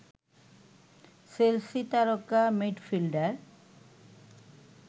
Chelsea তারকা midfielder